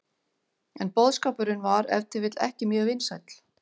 En boðskapurinn var ef til vill ekki mjög vinsæll.